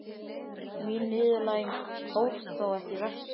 Mín niðurlæging hófst þó ekki vestur á